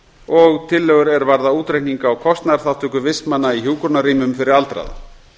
og tillögur er varða útreikning á kostnaðarþátttöku vistmanna í hjúkrunarrýmum fyrir aldraða